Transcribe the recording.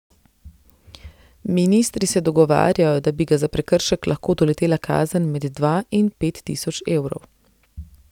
Ministri se dogovarjajo, da bi ga za prekršek lahko doletela kazen med dva in pet tisoč evrov.